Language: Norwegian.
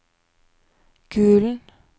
Gulen